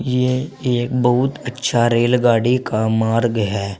ये एक बहुत अच्छा रेलगाड़ी का मार्ग है।